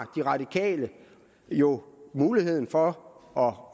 radikale har jo muligheden for